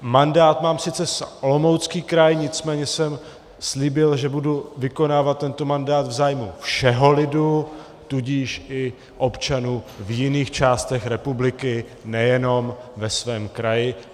Mandát mám sice za Olomoucký kraj, nicméně jsem slíbil, že budu vykonávat tento mandát v zájmu všeho lidu, tudíž i občanů v jiných částech republiky, nejenom ve svém kraji.